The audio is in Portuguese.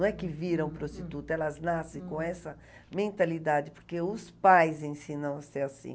Não é que viram prostituta, elas nascem com essa mentalidade, porque os pais ensinam a ser assim.